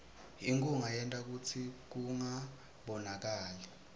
inkhunga yenta kutsi kungabonakali